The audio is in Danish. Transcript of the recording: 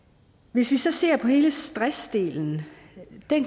hvis vi så ser på hele stressdelen